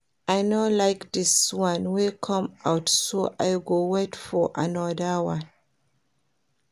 I no like dis one wey come out so I go wait for another one